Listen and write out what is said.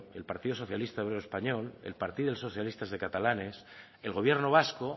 el partido socialista obrero español el partido socialista de catalanes el gobierno vasco